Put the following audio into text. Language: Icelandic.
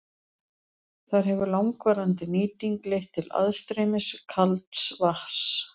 Þar hefur langvarandi nýting leitt til aðstreymis kalds vatns.